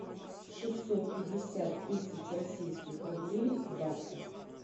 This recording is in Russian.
шестьсот пятьдесят тысяч российских рублей в баксах